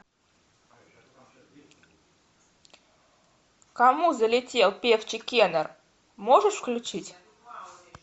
к кому залетел певчий кенар можешь включить